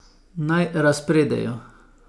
Naj razpredajo ...